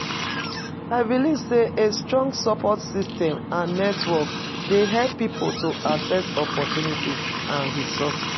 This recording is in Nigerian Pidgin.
I believe say a strong support system and network dey help people to access opportunities and resources.